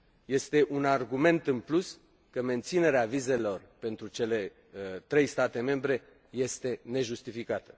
Este un argument în plus că menținerea vizelor pentru cele trei state membre este nejustificată.